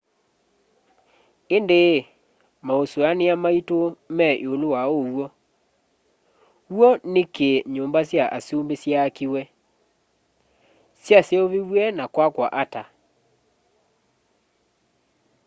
indi masuania maitu me iulu wa uw'o w'o niki nyumba sya asumbi syaakiwe syaseuviw'e na kwakwa ata